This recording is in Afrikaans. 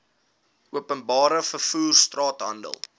openbare vervoer straathandel